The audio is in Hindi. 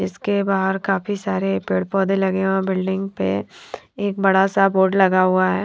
इसके बहार काफी सारे पेड़ पौधे लगे हुए है बिल्डिंग प एक बड़ा सा बोर्ड लगा हुआ हैं।